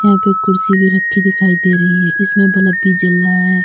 यहां पे एक कुर्सी भी रखी दिखाई दे रही है इसमें बलभ भी जल रहा है।